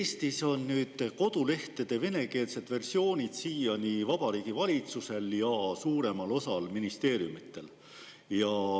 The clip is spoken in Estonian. Eestis on kodulehtede venekeelsed versioonid siiani Vabariigi Valitsusel ja suuremal osal ministeeriumidel.